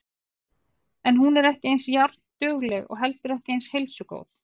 En hún er ekki eins járndugleg og ekki heldur eins heilsugóð.